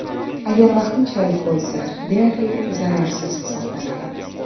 Agar vaqtinchalik bo‘lsa, deyarli zararsiz hisoblanadi.